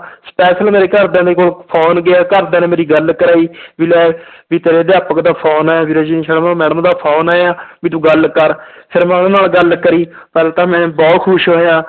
special ਮੇਰੇ ਘਰਦਿਆਂ ਦੇ ਕੋਲ phone ਗਿਆ, ਘਰਦਿਆਂ ਨੇ ਮੇਰੀ ਗੱਲ ਕਰਵਾਈ ਵੀ ਲੈ ਵੀ ਤੇਰੇ ਅਧਿਆਪਕ ਦਾ phone ਆਇਆ ਵੀ ਰਜਨੀ ਸ਼ਰਮਾ madam ਦਾ phone ਆਇਆ ਵੀ ਤੂੰ ਗੱਲ ਕਰ ਫਿਰ ਮੈਂ ਉਹਨਾਂ ਨਾਲ ਗੱਲ ਕਰੀ ਫਿਰ ਤਾਂ ਮੈਂ ਬਹੁਤ ਖ਼ੁਸ਼ ਹੋਇਆ।